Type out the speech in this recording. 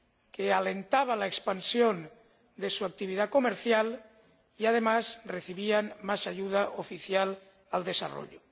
que alentaba la expansión de su actividad comercial y, además, que contribuía a recibir más ayuda oficial al desarrollo.